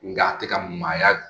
Nga a tɛ ka maaya dun